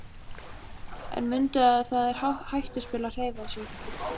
En mundu að það er hættuspil að hreyfa sig.